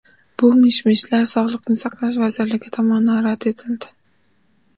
Bu mish-mishlar Sog‘liqni saqlash vazirligi tomonidan rad etildi .